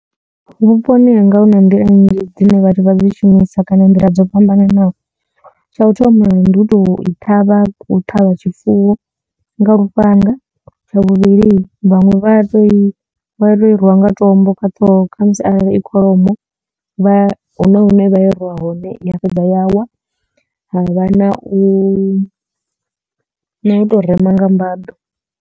Vhuponi hanga hu na nḓila nnzhi dzine vhathu vha dzi shumisa kana nḓila dzo fhambananaho tsha u thoma ndi u tou i ṱhavha u ṱhavha tshifuwo nga lufhanga. Tsha vhuvhili vhaṅwe vha to i rwa nga tombo kha ṱhoho khamusi arali i kholomo vha huna hune vha i rwa hone ya fhedza ya wa ha vha na u na u tou rema nga mbaḓo.